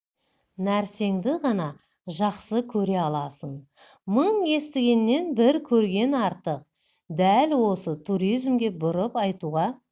нәрсеңді ғана жақсы көре аласың мың естігеннен бір көрген артық дәл осы туризмге бұрып айтуға